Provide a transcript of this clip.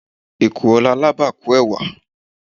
ekuro ni alaba kun ẹwa